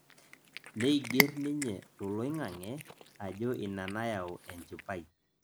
neiger ninye toloing'ang'e ajo ina nayau enjipai